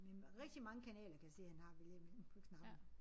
Men rigtig mange kanaler kan jeg se han har at vælge imellem på knapperne